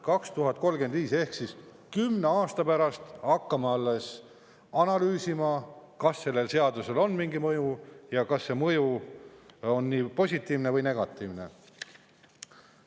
2035 ehk kümne aasta pärast hakkame alles analüüsima, kas sellel seadusel on mingi mõju ja kas see mõju on positiivne või negatiivne.